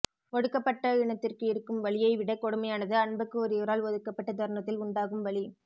ஒடுக்கப்பட்ட இனத்திற்கு இருக்கும் வலியை விடக்கொடுமையானது அன்புக்கு உரியவரால் ஒதுக்கப்பட்ட தருணத்தில் உண்டாகும் வலி